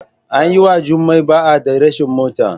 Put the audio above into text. An yi wa Jumai ba'a da rashin mota.